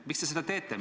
Miks te seda teete?